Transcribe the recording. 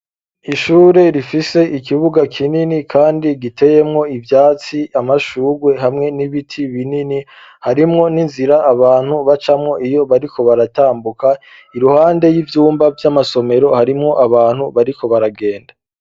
Ishure ,rifise ,ikibuga kinini kandi giteyemwo ivyatsi ,amashurwe hamwe n'ibiti binini harimwo n'inzira, abantu bacamwo iyo bariko baratambuka ,iruhande y'ivyumba vy'amasomero ,harimwo abantu bariko baragenda.